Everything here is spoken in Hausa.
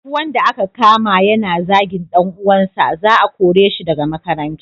Duk wanda aka kama yana zagin dan uwansa, za a kore shi daga makaranta.